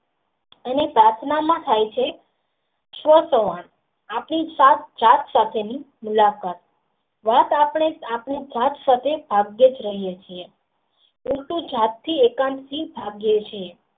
અને પ્રાર્થના માં થાય છે આપણી સાત સાથે ની મુલાકાત રાત આપણે આપણે ભાગ્યેજ રહીયે છીએ પરંતુ જાત થી એકાંકી ભાગ્યે છે